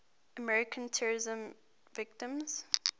american terrorism victims